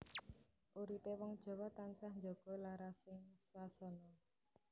Uripé wong Jawa tansah njaga larasing swasana